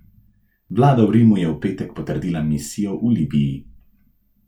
Vlada v Rimu je v petek potrdila misijo v Libiji.